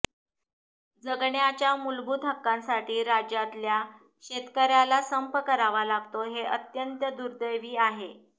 जगण्याच्या मूलभूत हक्कासाठी राज्यातल्या शेतकऱयाला संप करावा लागतोय हे अत्यंत दुर्दैवी आहे